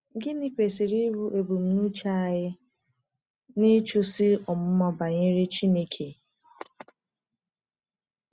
Gịnị kwesịrị ịbụ ebumnuche anyị n’ịchụso ọmụma banyere Chineke?